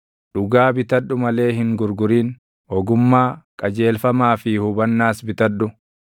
Dhugaa bitadhu malee hin gurgurin; ogummaa, qajeelfamaa fi hubannaas bitadhu.